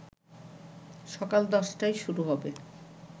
সকাল ১০টায় শুরু হবে